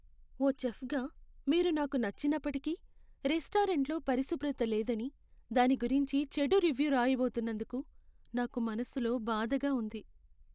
ఓ చెఫ్గా మీరు నాకు నచ్చినప్పటికీ, రెస్టారెంట్లో పరిశుభ్రత లేదని దాని గురించి చెడు రివ్యూ రాయబోతున్నందుకు నాకు మనసులో బాధగా ఉంది.